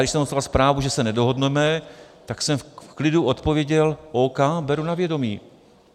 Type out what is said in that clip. Když jsem dostal zprávu, že se nedohodneme, tak jsem v klidu odpověděl: OK, beru na vědomí.